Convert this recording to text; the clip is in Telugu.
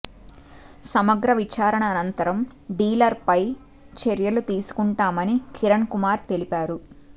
సమగ్ర విచారణ అనంతరం డీలర్పై చర్యలు తీసుకుంటామని కిరణ్ కుమార్ తెలిపారు